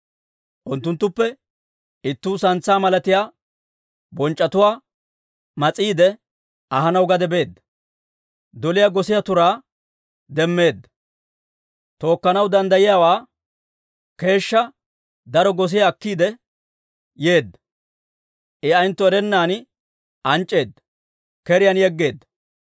Unttunttuppe ittuu santsaa malatiyaa bonc'c'etuwaa mas'iide ahanaw gade beedda. Doliyaa gosiyaa turaa demmeedda; tookkanaw danddayiyaawaa keeshshaa daro gosiyaa akkiide yeedda. I ayentto erennan anc'c'eedda, keriyaan yeggeedda.